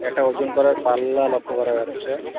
একটা ওজন করার পাল্লা লক্ষ করা যাচ্ছে।